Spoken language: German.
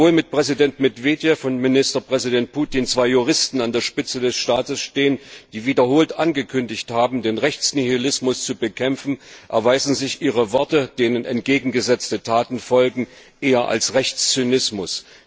Obwohl mit Präsident Medwedjew und Ministerpräsident Putin zwei Juristen an der Spitze des Staates stehen, die wiederholt angekündigt haben, den Rechtsnihilismus zu bekämpfen, erweisen sich ihre Worte, denen entgegengesetzte Taten folgen, eher als Rechtszynismus.